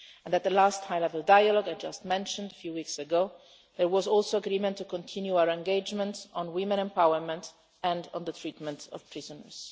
At the last high level dialogue I mentioned a few weeks ago, there was also agreement to continue our engagement on women's empowerment and on the treatment of prisoners.